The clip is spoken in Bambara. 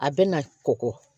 A bɛ na kɔkɔ